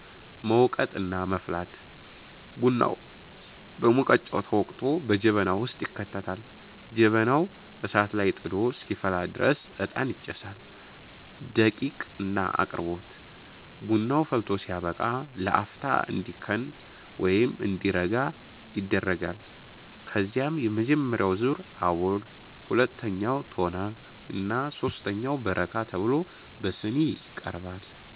መውቀጥ እና መፍላት፦ ቡናው በሙቀጫ ተወቅጦ በጀበና ውስጥ ይከተታል። ጀበናው እሳት ላይ ጥዶ እስኪፈላ ድረስ እጣን ይጨሳል። ደቂቅ እና አቅርቦት፦ ቡናው ፈልቶ ሲያበቃ ለአፍታ እንዲከን (እንዲረጋ) ይደረጋል። ከዚያም የመጀመሪያው ዙር (አቦል)፣ ሁለተኛው (ቶና) እና ሦስተኛው (በረካ) ተብሎ በሲኒ ይቀርባል።